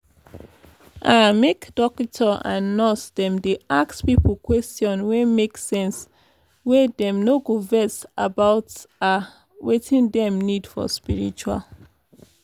ah make dokita and nurse dem dey ask pipo question wey make sense wey dem no go vex about ah wetin dem need for spritual